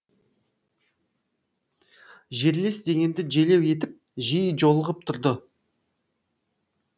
жерлес дегенді желеу етіп жиі жолығып тұрды